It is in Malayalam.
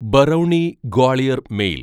ബറൌണി ഗ്വാളിയർ മെയിൽ